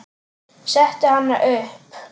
Setti hana upp.